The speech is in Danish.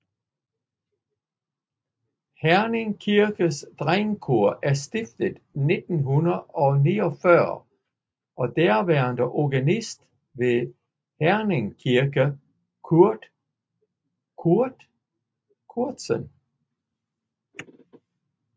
Herning Kirkes Drengekor er stiftet i 1949 af daværende organist ved Herning Kirke Cort Cortsen